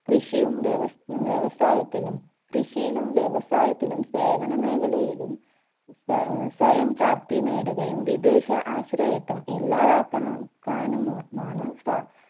കൃഷിയും വ്യവസ്‌ വ്യവസായത്തിലും കൃഷിയിലും വ്യവസായത്തിലും സേവന മേഖലയിലും സ സ്വയം പ്രാപ്തി നേടുകയും വിദേശ ആശ്രയത്ത്വം ഇല്ലാതാക്കണം ക്കാനുമ മാണ് സ